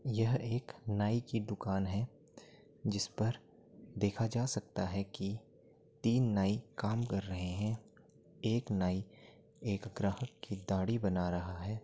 यह एक नाई की दुकान है जिसपर देखा जा सकता है कि तीन नाई काम कर रहे हैं। एक नाई एक ग्राहक की दाढ़ी बना रहा है।